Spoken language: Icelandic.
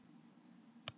Er þurr í hálsinum.